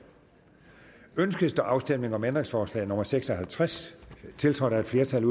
ønskes der afstemning om ændringsforslag nummer seks og halvtreds tiltrådt af et flertal